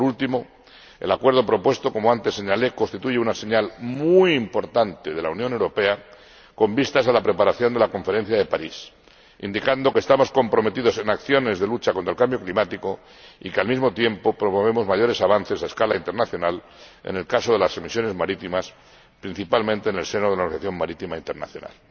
Por último, el acuerdo propuesto —como antes señalé— constituye una señal muy importante de la Unión Europea con vistas a la preparación de la Conferencia de París, indicando que estamos comprometidos en acciones de lucha contra el cambio climático y que, al mismo tiempo, promovemos mayores avances a escala internacional en el caso de las emisiones marítimas, principalmente en el seno de la Organización Marítima Internacional.